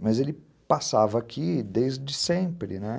mas ele passava aqui desde sempre, né?